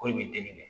Ko i bɛ teli kɛ